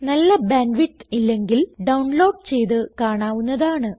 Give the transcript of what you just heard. നല്ല bandwidth ഇല്ലെങ്കിൽ download ചെയ്ത് കാണാവുന്നതാണ്